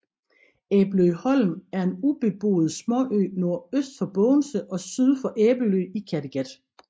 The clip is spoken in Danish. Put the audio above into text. Æbeløholm er en ubeboet småø nordøst for Bogense og syd for Æbelø i Kattegat